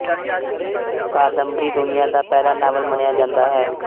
ਕਾਦੰਬਰੀ ਦੁਨੀਆ ਦਾ ਪਹਿਲਾ ਨਾਵਲ ਮੰਨਿਆ ਜਾਂਦਾ ਹੈ